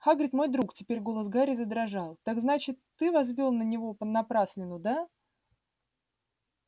хагрид мой друг теперь голос гарри задрожал так значит ты возвёл на него напраслину да